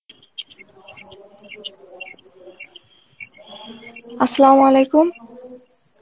Arbi